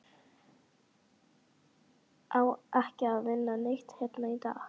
Á ekki að vinna neitt hérna í dag?